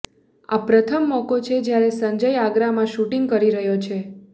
આ પ્રથમ મોકો છે જ્યારે સંજય આગરામાં શૂટિંગ કરી રહ્યો છે